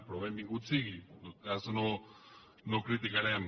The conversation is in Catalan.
però benvingut sigui en tot cas no ho criticarem